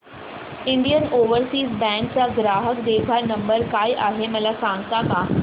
Indian Overseas Bank चा ग्राहक देखभाल नंबर काय आहे मला सांगता का